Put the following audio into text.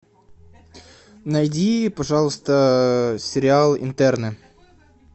найди пожалуйста сериал интерны